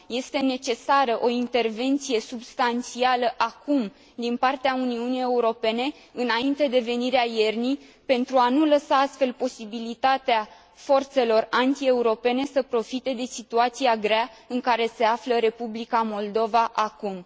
Este necesară o intervenție substanțială, acum, din partea Uniunii Europene, înainte de venirea iernii, pentru a nu lăsa astfel posibilitatea forțelor antieuropene să profite de situația grea în care se află Republica Moldova acum.